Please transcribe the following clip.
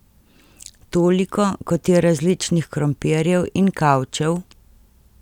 Toliko, kot je različnih krompirjev in kavčev ...